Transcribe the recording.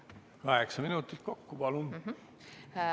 Kaheksa minutit kokku, palun!